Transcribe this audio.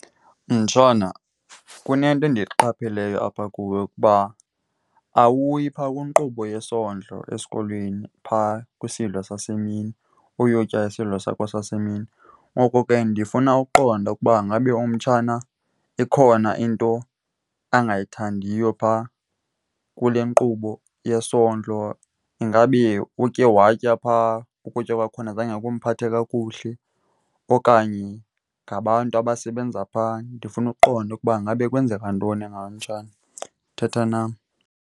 Mtshana, kunento endiyiqapheleyo apha kuwe ukuba awuyi phaa kwinkqubo yesondlo esikolweni phaa kwisidlo sasemini uyotya isidlo sakho sasemini. Ngoko ke ndifuna ukuqonda ukuba ingabe umtshana ikhona into angayithandiyo phaa kule nkqubo yesondlo. Ingabe utye watya phaa ukutya kwakhona zange kumphathe kakuhle okanye ngabantu abasebenza phaa. Ndifuna ukuqonda ukuba ingabe kwenzeka ntoni ngawe, mtshana. Thetha nam.